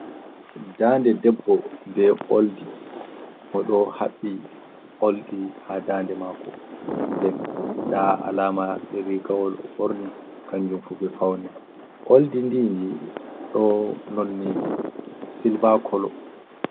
Daande debbo be oldi. Mo ɗo haɓɓi oldi ha daande mako. Nden nda alama rigawol o'ɓorni kanjum fu be faune. Oldi ndi ndi ɗo nonni silva kolo.